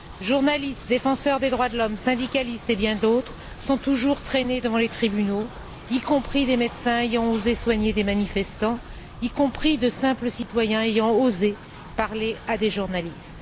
Journalistes, défenseurs des droits de l'homme, syndicalistes, et bien d'autres, sont toujours traînés devant les tribunaux, y compris des médecins ayant osé soigner des manifestants, y compris de simples citoyens ayant osé parler à des journalistes.